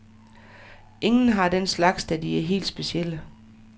Ingen har den slags, da de er helt specielle.